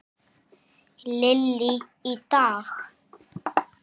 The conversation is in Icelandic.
Lillý: Í dag?